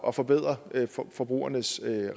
at forbedre forbrugernes